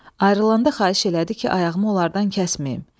ayrılanda xahiş elədi ki, ayağımı onlardan kəsməyim.